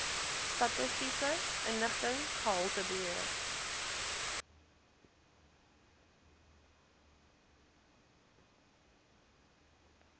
statistiese inligting gehaltebeheer